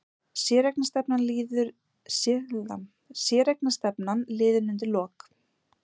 Séreignarstefnan liðin undir lok